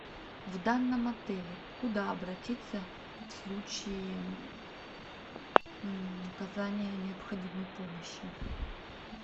в данном отеле куда обратиться в случае оказания необходимой помощи